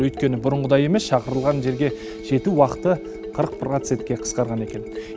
өйткені бұрынғыдай емес шақырылған жерге жету уақыты қырық процентке қысқарған екен